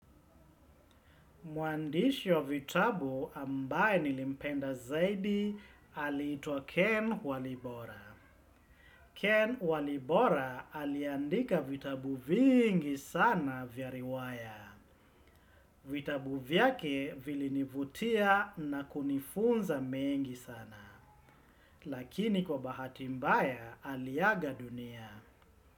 Mwandishi wa vitabu ambaye nilimpenda zaidi, aliitwa Ken Walibora. Ken Walibora aliandika vitabu vingi sana vya riwaya. Vitabu vyake vilinivutia na kunifunza mengi sana. Lakini kwa bahati mbaya, aliaga dunia.